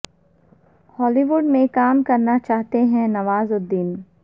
ہالی ووڈ میں کام کرنا چاہتے ہیں نواز الدین